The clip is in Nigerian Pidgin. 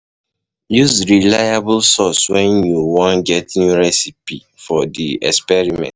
Use reliable sources when you wan get new recipe for di experiment